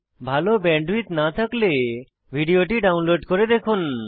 ভাল ব্যান্ডউইডথ না থাকলে ভিডিওটি ডাউনলোড করে দেখুন